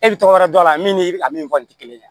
E bi tɔgɔ wɛrɛ dɔn a la min ni a min kɔni te kelen ye